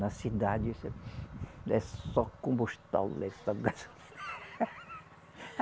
Na cidade, é só